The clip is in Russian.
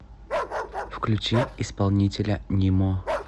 включи исполнителя нимо